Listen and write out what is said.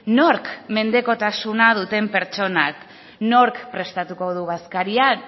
nork mendekotasuna duten pertsonak nork prestatuko du bazkaria